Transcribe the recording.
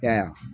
E y'a ye